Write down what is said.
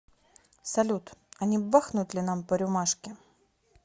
салют а не бахнуть ли нам по рюмашке